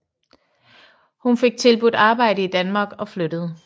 Hun fik tilbudt arbejde i Danmark og flyttede